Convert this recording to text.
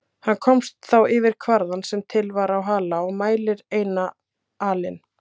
Hann komst þá yfir kvarða sem til var á Hala og mælir eina alin.